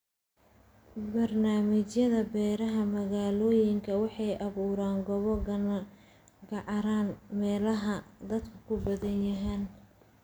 Barnaamijyada beeraha magaalooyinka waxay abuuraan goobo cagaaran meelaha dadku ku badan yahay.